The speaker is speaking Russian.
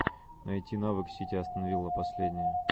найти навык сити астон вилла последнее